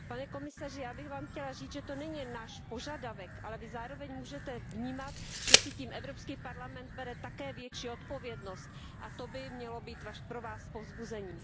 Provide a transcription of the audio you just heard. Pane komisaři, já bych Vám chtěla říct, že to není jen náš požadavek, ale Vy zároveň můžete vnímat, že si tím Evropský parlament bere také větší odpovědnost, a to by mělo být pro Vás povzbuzení.